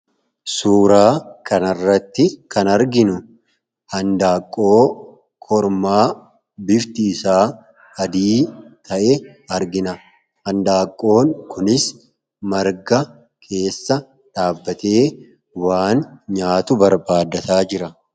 Suuraa kanarratti kan arginu, handaaqqoo kormaa bifti isaa adii ta'e argina. Handaaqqoo kunis marga keessa dhaabbatee waan nyaatu barbaaddataa jira.